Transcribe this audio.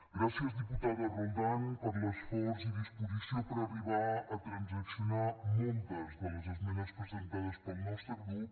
gràcies diputada roldán per l’esforç i disposició per arribar a transaccionar moltes de les esmenes presentades pel nostre grup